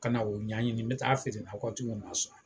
Ka na o ɲa ɲini n be taa a feere nakɔtigiw ma sɔn